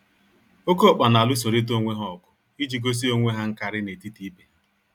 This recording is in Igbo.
Oké ọkpa n'alụsorịta onwe ha ọgụ iji gosi onwe ha nkarị n'etiti ibe ha.